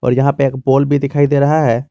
और यहां पे एक पोल भी दिखाई दे रहा है।